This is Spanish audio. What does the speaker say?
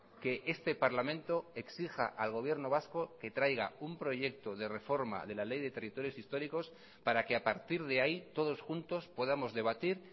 que este parlamento exija al gobierno vasco que traiga un proyecto de reforma de la ley de territorios históricos para que a partir de ahí todos juntos podamos debatir